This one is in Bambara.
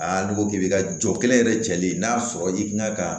Aa n'i ko k'i bɛ ka jɔn kelen yɛrɛ jɛlen n'a sɔrɔ i kan ka